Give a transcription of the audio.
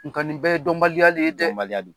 Nnka nin bɛɛ ye dɔnbaliya de ye dƐ!